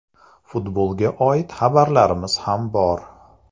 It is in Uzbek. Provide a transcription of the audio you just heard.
Futbolga oid xabarlarimiz ham bor.